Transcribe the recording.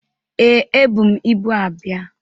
Ee, ebu m ibu abịa